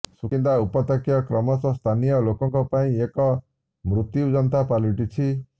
ସୁକିନ୍ଦା ଉପତ୍ୟକା କ୍ରମଶଃ ସ୍ଥାନୀୟ ଲୋକଙ୍କ ପାଇଁ ଏକ ମୃତୁ୍ୟଯନ୍ତା ପାଲଟିଛି